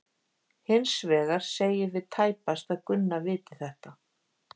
Hins vegar segjum við tæpast að Gunna viti þetta.